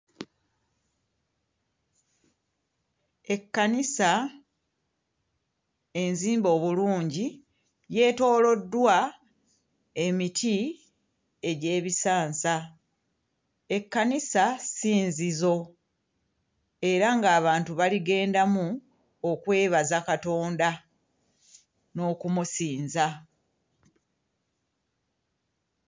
Ekkanisa enzimbe obulungi yeetooloddwa emiti egy'ebisansa. Ekkanisa ssinzizo era ng'abantu baligendamu okwebaza Katonda n'okumusinza.